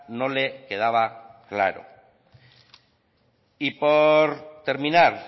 no le quedaba claro y por terminar